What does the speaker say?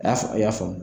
A y'a faamu a y'a faamu